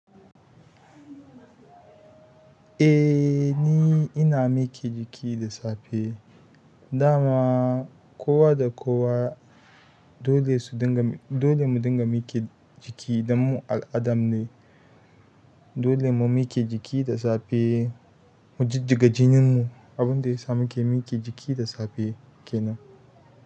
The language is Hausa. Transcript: Eh ni ina miƙe jiki da safe. Dama kowa da kowa dole su dinga, dole mu dinga miƙe jiki dan mu al'adam ne. Dole mu miƙe jiki da safe mu jijjiga jininmu. Abun da ya sa mu ke miƙe jiki da safe kenan.